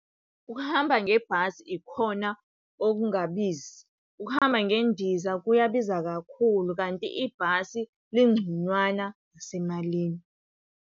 Ukuhamba ngebhasi ikhona okungabizi. Ukuhamba ngendiza kuyabiza kakhulu, kanti ibhasi lingconywana ngasemalini.